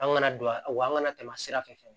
An kana don a wakana tɛmɛ sira fɛ